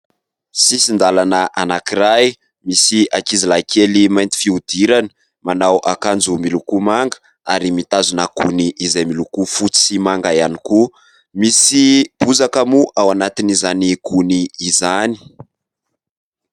Sisin-dàlana anankiray, misy ankizilahikely mainty fihodirana, manao akanjo miloko manga ary mitazona gony izay miloko fotsy sy manga ihany koa, misy bozaka moa ao anatin'izany gony izany.